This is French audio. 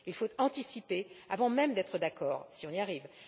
y aider. Il faut anticiper avant même d'être d'accord, si nous y